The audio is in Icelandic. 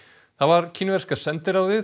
það var kínverska sendiráðið